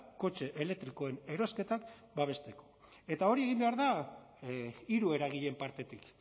kotxe elektrikoen